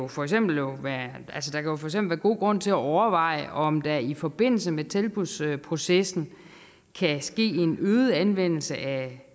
for eksempel være god grund til at overveje om der i forbindelse med tilbudsprocessen kan ske en øget anvendelse af